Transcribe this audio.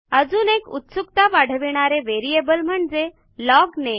अजून एक उत्सुकता वाढविणारे व्हेरिएबल म्हणजे लॉगनेम